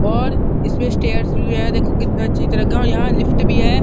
और इसमे स्टेयर्स भी है देखो कितनी अच्छी तरह का। यहाँ लिफ्ट भी है।